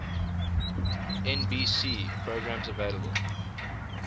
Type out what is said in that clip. nbc programs available